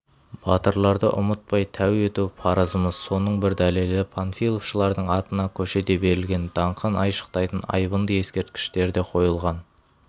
батырларды ұмытпай тәу ету парызымыз соның бір дәлелі панфиловшылардың атына көше де берілген даңқын айшықтайтын айбынды ескерткіштер де қойылған